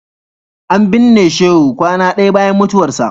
An binne Shehu kwana ɗaya bayan mutuwarsa.